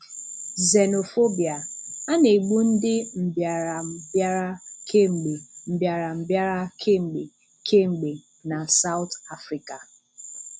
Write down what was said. Xenophobia: A na-égbù ndị mbìáràmbìárà kem̀gbe mbìáràmbìárà kem̀gbe kem̀gbe na South Africa.